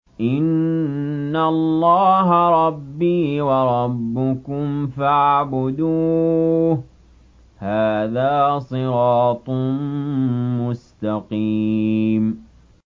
إِنَّ اللَّهَ رَبِّي وَرَبُّكُمْ فَاعْبُدُوهُ ۗ هَٰذَا صِرَاطٌ مُّسْتَقِيمٌ